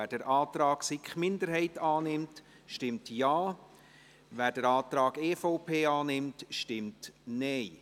Wer den Antrag der SiK-Minderheit annimmt, stimmt Ja, wer den Antrag der EVP annimmt, stimmt Nein.